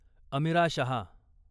Amira Shah